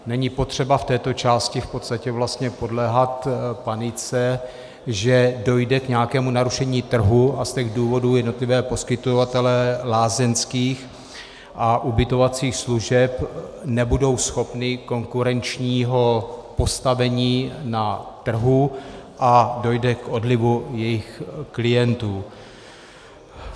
Není potřeba v této části v podstatě vlastně podléhat panice, že dojde k nějakému narušení trhu a z těch důvodů jednotliví poskytovatelé lázeňských a ubytovacích služeb nebudou schopni konkurenčního postavení na trhu a dojde k odlivu jejich klientů.